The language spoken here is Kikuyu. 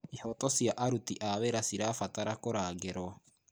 Ihooto cia aruti wĩra cirabatara kũrangĩrwo.